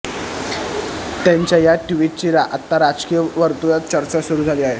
त्याच्या या ट्विटची आता राजकीय वर्तुळात चर्चा सुरू झाली आहे